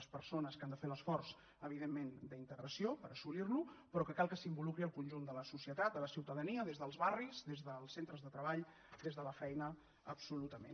les persones que han de fer l’esforç evidentment d’integració per assolirla però cal que s’involucri el conjunt de la societat de la ciutadania des dels barris des dels centres de treball des de la feina absolutament